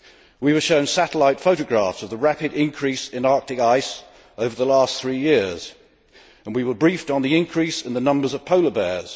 We were shown satellite photographs of the rapid increase in Arctic ice over the last three years, and we were briefed on the increase in the numbers of polar bears.